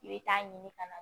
I bɛ taa ɲini ka na